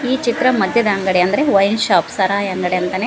ಈ ಚಿತ್ರ ಮದ್ಯದ ಅಂಗಡಿ ಅಂದ್ರೆ ವೈನ್ ಶಾಪ್ ಸಾರಾಯಿ ಅಂಗಡಿ ಅಂತನೇ --